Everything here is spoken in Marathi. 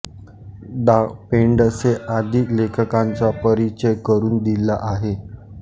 दा पेंडसे आदी लेखकांचा परिचय करून दिला आहे